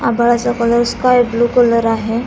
आभाळा चा colour sky blue colour आहे.